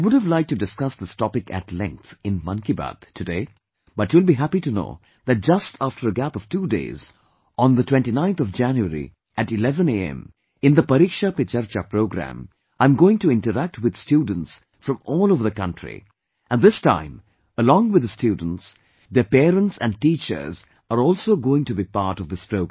I would have liked to discuss this topic at length in 'Mann Ki Baat' of today, but you will be happy to know that just after a gap of two days, on January 29, at 11 am, in the 'Pariksha Pe Charcha' program, I am going to interact with students from all over the country, and this time, along with the students, their parents and teachers are also going to be part of this program